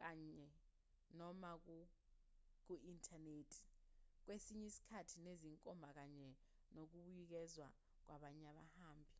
kanye/noma ku-inthanethi kwesinye isikhathi nezinkomba kanye nokubuyekezwa kwabanye abahambi